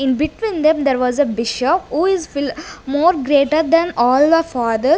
in between them there was a who is fill more greater than all the father.